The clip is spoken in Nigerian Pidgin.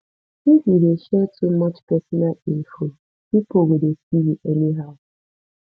if you dey share too much personal info pipo go dey see you anyhow